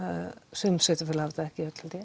sum sveitarfélög hafa það ekki öll held ég